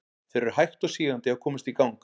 Þeir eru hægt og sígandi að komast í gang.